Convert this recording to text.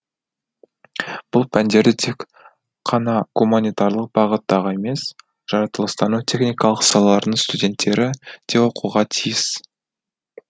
бұл пәндерді тек қана гуманитарлық бағыттағы емес жаратылыстану техникалық салалардың студенттері де оқуға тиіс